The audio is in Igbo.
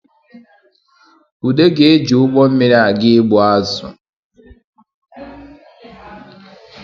Ude ga-eje ụgbọ mmiri aga ịgbụ azụ